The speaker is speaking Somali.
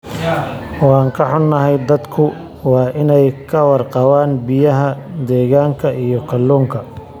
Waan ka xunnahay, dadku waa inay ka warqabaan biyaha deegaanka iyo kalluunka.